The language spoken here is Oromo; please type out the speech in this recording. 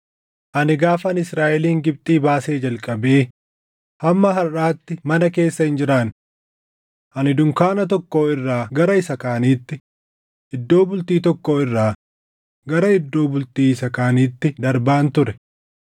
Ani gaafan Israaʼelin Gibxii baasee jalqabee hamma harʼaatti mana keessa hin jiraanne. Ani dunkaana tokkoo irraa gara isa kaaniitti, iddoo bultii tokkoo irraa gara iddoo bultii isa kaaniitti darbaan ture.